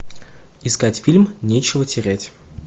искать фильм нечего терять